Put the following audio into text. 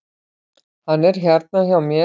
Hann er hérna hjá mér.